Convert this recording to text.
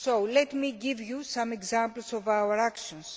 Let me give you some examples of our actions.